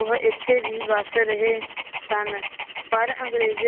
ਉਹ ਇੱਥੇ ਵੀ ਵਸ ਰਹੇ ਸਨ, ਪਰ ਅੰਗਰੇਜ਼